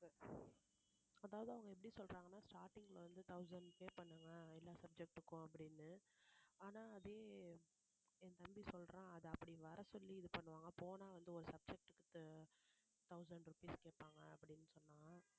அதாவது அவங்க எப்படி சொல்றாங்கன்னா starting ல வந்து thousand pay பண்ணுங்க எல்லாம் subject க்கும் அப்படின்னு ஆனா அதே என் தம்பி சொல்றான் அது அப்படி வரச்சொல்லி இது பண்ணுவாங்க போனா வந்து ஒரு subject க்கு thousand rupees கேட்பாங்க அப்படின்னு சொன்னான்